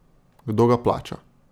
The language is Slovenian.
Kdo ga plača?